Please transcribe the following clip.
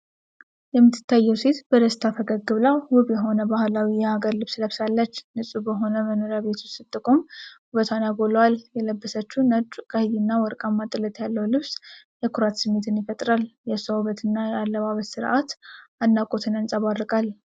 የምትታየው ሴት በደስታ ፈገግ ብላ፤ ውብ የሆነ ባህላዊ የሀገር ልብስ ለብሳለች። ንፁህ በሆነ መኖሪያ ቤት ውስጥ ስትቆም ውበቷን ያጎላዋል:: የለበሰችው ነጭ፣ ቀይ እና ወርቃማ ጥለት ያለው ልብስ የኩራት ስሜትን ይፈጥራል::የእሷ ውበትና የአለባበስ ሥርዓት አድናቆትን ያንጸባርቃል::